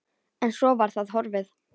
En svo var það horfið.